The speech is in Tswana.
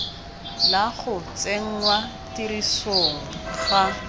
la go tsenngwa tirisong ga